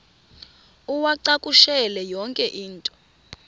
uwacakushele yonke into